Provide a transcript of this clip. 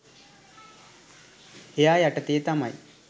එයා යටතේ තමයි